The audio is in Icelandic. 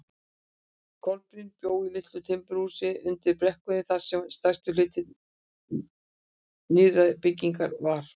Kolbrún bjó í litlu timburhúsi undir brekkunni þar sem stærsti hluti nýrri byggðarinnar var.